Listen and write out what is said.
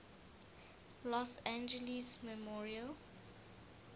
los angeles memorial